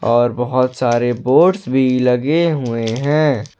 और बहोत सारे बोर्ड्स भी लगे हुए हैं।